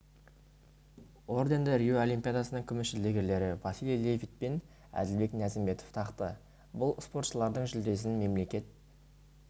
орденді рио олимпиадасының күміс жүлдегерлері василий левит пен әділбек ниязымбетов тақты бұл спортшылардың жүлдесін мемлекет